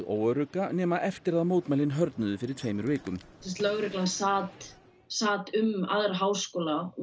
óörugga nema eftir að mótmælin fyrir tveimur vikum lögreglan sat sat um aðra háskóla og